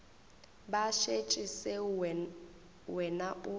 ba šetše seo wena o